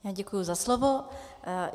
Já děkuji za slovo.